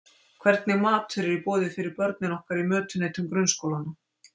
Hvernig matur er í boði fyrir börnin okkar í mötuneytum grunnskólanna?